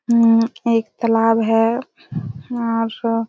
उम्म्म्म एक तालाब है यहाँ सब